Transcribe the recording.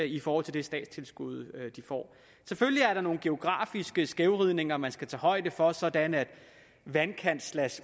i forhold til det statstilskud de får selvfølgelig er der nogle geografiske skævvridninger man skal tage højde for sådan at